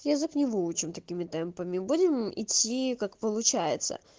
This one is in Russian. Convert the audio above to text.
язык не выучил такими темпами мы будем идти как получается